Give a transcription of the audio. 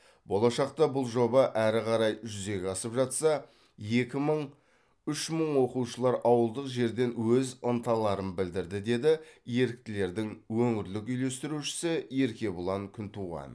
болашақта бұл жоба әрі қарай жүзеге асып жатса екі мың үш мың оқушылар ауылдық жерден өз ынталарын білдірді деді еріктілердің өңірлік үйлестірушісі еркебұлан күнтуған